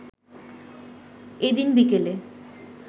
এদিন বিকেলে